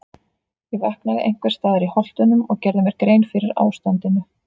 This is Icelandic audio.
Ég vaknaði einhvers staðar í Holtunum og gerði mér grein fyrir ástandinu.